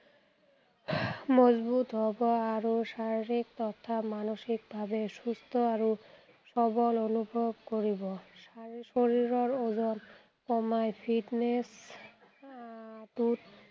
মজবুত হ’ব আৰু শাৰীৰিক তথা মানসিকভাৱে সুস্থ আৰু সবল অনুভৱ কৰিব। শৰীৰৰ ওজন কমাই fitness আহ অটুট